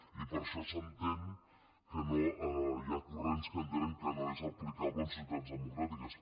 i per això s’entén hi ha corrents que entenen que no és aplicable en societats democràtiques